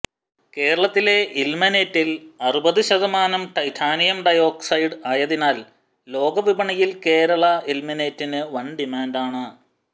കേരളത്തിലെ ഇൽമെനേറ്റിൽ അറുപത് ശതമാനം ടൈറ്റാനിയം ഡൈയോക്സൈഡ് ആയതിനാൽ ലോകവിപണിയിൽ കേരള ഇൽമെനേറ്റിന് വൻ ഡിമാന്റാണ്